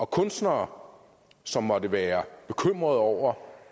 kunstnere som måtte være bekymrede over